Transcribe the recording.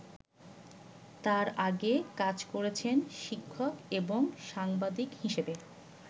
তার আগে কাজ করেছেন শিক্ষক এবং সাংবাদিক হিসাবে।